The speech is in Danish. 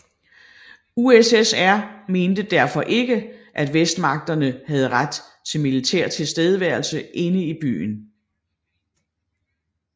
USSR mente derfor ikke at Vestmagterne havde ret til militær tilstedeværelse inde i byen